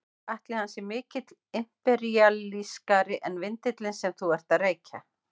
Ætli hann sé mikið imperíalískari en vindillinn sem þú ert að reykja?